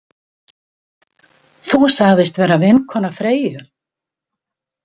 Þú sagðist vera vinkona Freyju.